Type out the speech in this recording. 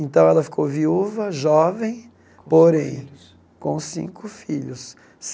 Então, ela ficou viúva, jovem, porém, Cinco filhos com cinco filhos.